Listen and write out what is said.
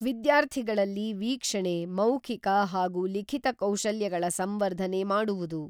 ವಿದ್ಯಾರ್ಥಿಗಳಲ್ಲಿ ವೀಕ್ಷಣೆ, ಮೌಖಿಕ ಹಾಗೂ ಲಿಖಿತ ಕೌಶಲ್ಯಗಳ ಸಂವರ್ಧನೆ ಮಾಡುವುದು.